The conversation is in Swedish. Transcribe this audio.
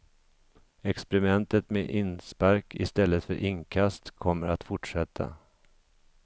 Experimentet med inspark istället för inkast kommer att fortsätta.